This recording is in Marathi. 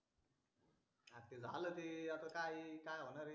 झाल ते आता काय आहे काय होणार आहे